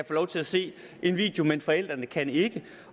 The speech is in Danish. få lov til at se en video men forældrene kan ikke